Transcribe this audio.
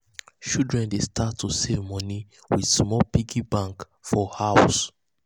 children dey start to um save moni with um small piggy bank for house.